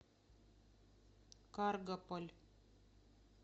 каргополь